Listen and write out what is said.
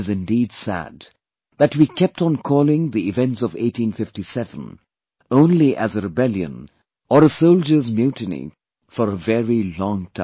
It is indeed sad that we kept on calling the events of 1857 only as a rebellion or a soldiers' mutiny for a very long time